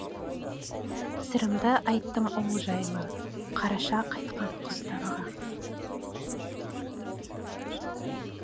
сырымды айттым ол жайлы қараша қайтқан құстарға